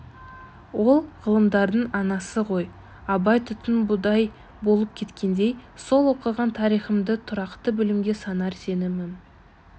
ол ғылымдардың анасы ғой абай түтін будай болып кеткендей сол оқыған тарихымды тұрақты білімге санар сенімім